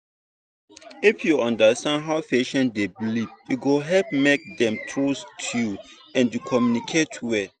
if you understand how patient dey believe e go help make dem trust you and communicate well.